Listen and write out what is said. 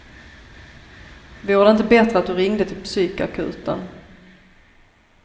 Vore det inte bättre att du ringde till psykakuten.